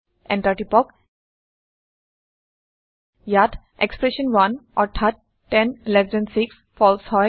enter টিপক ইয়াত expression 1 অৰ্থাৎ 10এলটি6 ফালছে হয়